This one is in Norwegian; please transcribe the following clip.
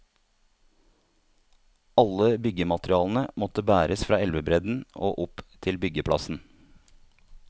Alle byggematerialene måtte bæres fra elvebredden og opp til byggeplassen.